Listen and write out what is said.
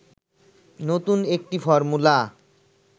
নতুন একটি ফর্মুলা